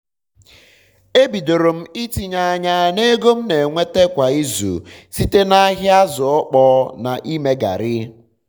e bidoro m itinye anya na ego m na enweta kwa izu site na ahịa azụ ọkpọọ na-ime garrị